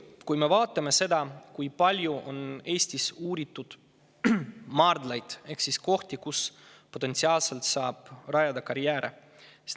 Vaatame, kui palju on Eestis uuritud maardlaid ehk kohti, kus potentsiaalselt saab rajada karjääre.